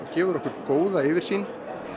gefur okkur góða yfirsýn